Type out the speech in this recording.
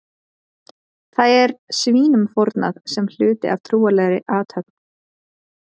Þar er svínum fórnað sem hluti af trúarlegri athöfn.